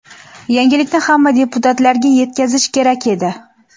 Yangilikni hamma deputatlarga yetkazish kerak edi.